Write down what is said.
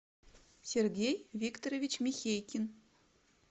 сергей викторович михейкин